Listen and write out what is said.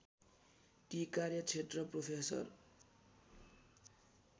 ती कार्यक्षेत्र प्रोफेसर